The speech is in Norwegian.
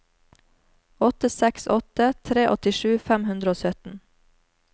åtte seks åtte tre åttisju fem hundre og sytten